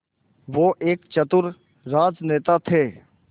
वो एक चतुर राजनेता थे